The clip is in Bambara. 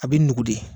A bɛ nugu de